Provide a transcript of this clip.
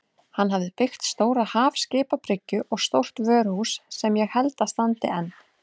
Hann hafði byggt stóra hafskipabryggju og stórt vöruhús sem ég held að standi enn.